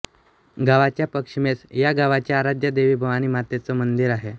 गावाच्या पश्चिमेस या गावाच्या आराध्या देवी भवानी मातेचं मंदीर आहे